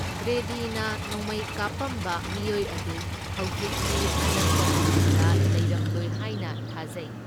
ꯒ꯭ꯔꯦꯗꯤꯅ ꯅꯣꯡꯃꯩꯩ ꯀꯥꯞꯄꯝꯕ ꯃꯤꯑꯣꯢ ꯑꯗꯨ ꯍꯧꯖꯤꯛꯇꯤ ꯑꯅꯛꯄ ꯃꯐꯝꯗ ꯂꯩꯔꯝꯂꯣꯢ ꯍꯥꯢꯅ ꯊꯥꯖꯩ꯫